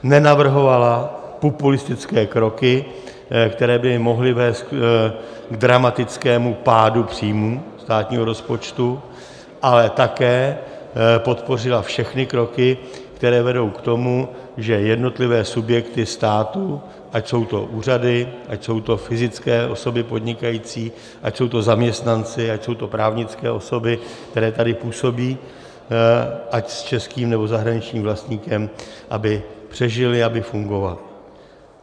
Nenavrhovala populistické kroky, které by mohly vést k dramatickému pádu příjmů státního rozpočtu, ale také podpořila všechny kroky, které vedou k tomu, že jednotlivé subjekty státu, ať jsou to úřady, ať jsou to fyzické osoby podnikající, ať jsou to zaměstnanci, ať jsou to právnické osoby, které tady působí, ať s českým, nebo zahraničním vlastníkem, aby přežily, aby fungovaly.